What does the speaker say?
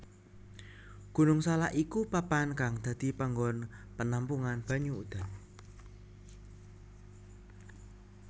Gunung Salak iku papan kang dadi panggon penampungan banyu udan